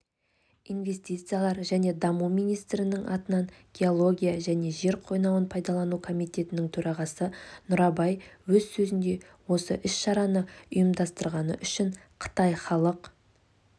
инвестициялар және даму министрлігінің атынан геология және жер қойнауын пайдалану комитетінің төрағасы нұрабай өз сөзінде осы іс-шараны ұйымдастырғаны үшін қытай халық